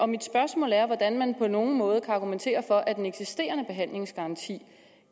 mit spørgsmål er hvordan man på nogen måde kan argumentere for at den eksisterende behandlingsgaranti